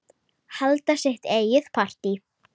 Halda sitt eigið partí.